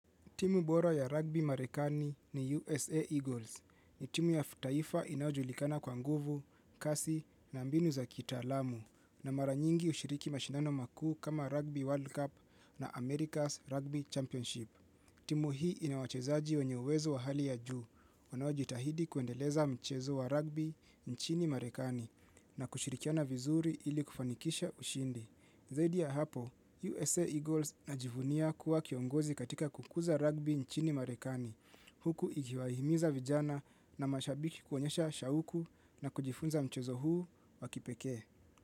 Timu bora ya rugby marekani ni USA Eagles. Ni timu ya fu taifa inayojulikana kwa nguvu, kasi na mbinu za kitaalamu na mara nyingi hushiriki mashindano makuu kama Rugby World Cup na America's Rugby Championship. Timu hii ina wachezaji wrnye uwezo wa hali ya juu. Wanao jitahidi kuendeleza mchezo wa rugby nchini marekani na kushirikiana vizuri ili kufanikisha ushindi. Zaidi ya hapo, USA Eagles najivunia kuwa kiongozi katika kukuza rugby nchini marekani huku ikiwa hihimiza vijana na mashabiki kuonyesha shauku na kujifunza mchezo huu wakipekee.